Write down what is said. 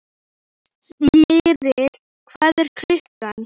Smyrill, hvað er klukkan?